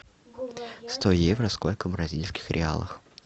сто евро сколько в бразильских реалах